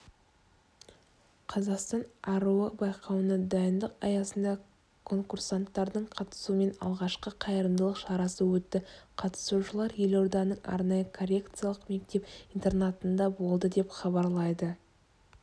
қазақстан аруы байқауына дайындық аясында конкурсанттардың қатысуымен алғашқы қайырымдылық шарасы өтті қатысушылар елорданың арнайы коррекциялық мектеп-интернатында болды деп хабарлайды